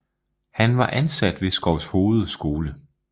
Han var ansat ved Skovshoved skole